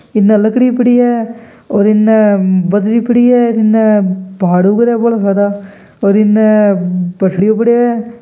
इने लकड़ी पड़ी है और इन्ने बजरी पड़ी है इन्ने पहाड़ उग रेया बोड़ा सारा और इन्ने पसडीयो पड्यो हैं।